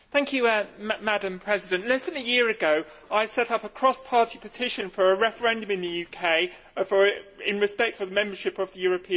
Madam President, less than a year ago I set up a cross party petition for a referendum in the UK in respect of membership of the European Union.